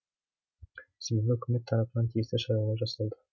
себебі үкімет тарапынан тиісті шаралар жасалды